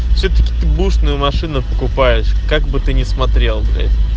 всетаки ты быушную машину покупаешь как бы ты не смотрел